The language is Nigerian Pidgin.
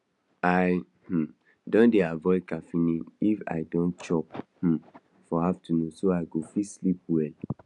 i um don dey avoid caffeine if i don chop um for afternoon so i go fit sleep well